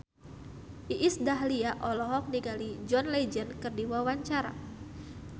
Iis Dahlia olohok ningali John Legend keur diwawancara